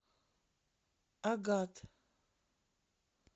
агат